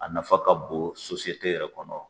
A nafa ka bon yɛrɛ kɔnɔ.